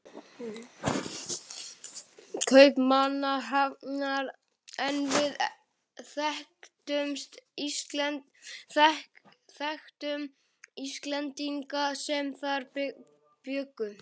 Kaupmannahafnar en við þekktum Íslendinga sem þar bjuggu.